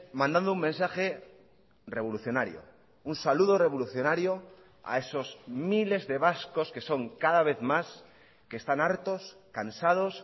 mandando un mensaje revolucionario un saludo revolucionario a esos miles de vascos que son cada vez más que están hartos cansados